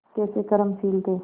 कैसे कर्मशील थे